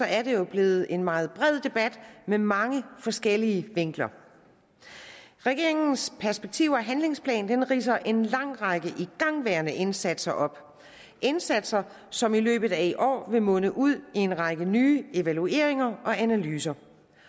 er det jo blevet en meget bred debat med mange forskellige vinkler regeringens perspektiv og handlingsplan ridser en lang række igangværende indsatser op indsatser som i løbet af i år vil munde ud i en række nye evalueringer og analyser